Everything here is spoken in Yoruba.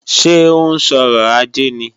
Ṣé ó ń sọrọ̀ ajé ni?